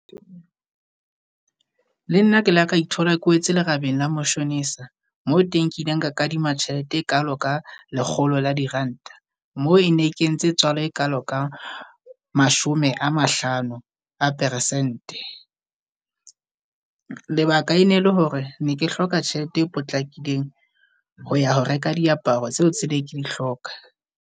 Le nna ke la ka ithola ke wetse lerabeng la mashonisa, mo teng ke ileng ka kadima tjhelete e kalo ka lekgolo la diranta. Mo e ne kentse tswala e kalo ka mashome a mahlano a persente. Lebaka e ne le hore ne ke hloka tjhelete e potlakileng ho ya ho reka diaparo tseo tse ne ke di hloka.